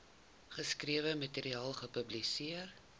geskrewe materiaal publiseer